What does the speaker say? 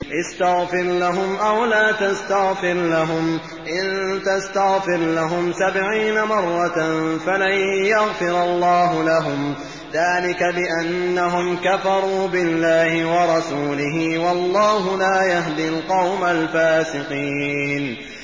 اسْتَغْفِرْ لَهُمْ أَوْ لَا تَسْتَغْفِرْ لَهُمْ إِن تَسْتَغْفِرْ لَهُمْ سَبْعِينَ مَرَّةً فَلَن يَغْفِرَ اللَّهُ لَهُمْ ۚ ذَٰلِكَ بِأَنَّهُمْ كَفَرُوا بِاللَّهِ وَرَسُولِهِ ۗ وَاللَّهُ لَا يَهْدِي الْقَوْمَ الْفَاسِقِينَ